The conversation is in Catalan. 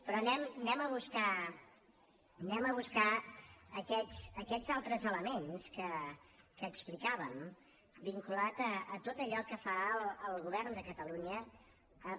però anem a buscar anem a buscar aquests altres elements que explicàvem vinculats a tot allò que fa el govern de catalunya amb